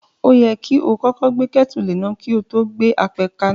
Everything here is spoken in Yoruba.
O yẹ kí o kọ́kọ́ gbé kétù léná kí o to gbe apẹ kaná.